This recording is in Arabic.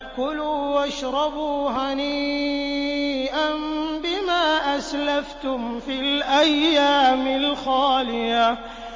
كُلُوا وَاشْرَبُوا هَنِيئًا بِمَا أَسْلَفْتُمْ فِي الْأَيَّامِ الْخَالِيَةِ